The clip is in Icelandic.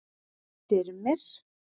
Styrmir